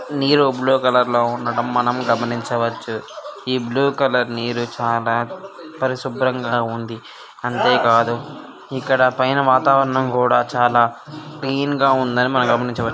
నీరు blue colour లో ఉండటం మనం గమనించవచ్చు. ఈ బ్లూ కలర్ నీరు చాలా పరిశుభ్రంగా ఉంది. అంతే కాదు ఇక్కడ పైన వాతావరణం కూడా చాలా క్లీన్ గా ఉందని మనం గమనించవ--